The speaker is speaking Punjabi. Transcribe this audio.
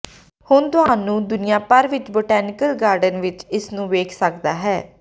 ਹੁਣ ਤੁਹਾਨੂੰ ਦੁਨੀਆ ਭਰ ਵਿੱਚ ਬੋਟੈਨੀਕਲ ਗਾਰਡਨ ਵਿੱਚ ਇਸ ਨੂੰ ਵੇਖ ਸਕਦਾ ਹੈ